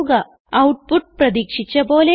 output പ്രതീക്ഷിച്ച പോലെയാണ്